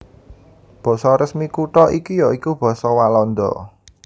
Basa resmi kutha iki ya iku basa Walanda